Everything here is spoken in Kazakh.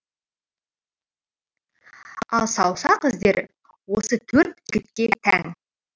ал саусақ іздері осы төрт жігітке тән